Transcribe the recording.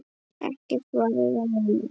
Ekkert varir að eilífu.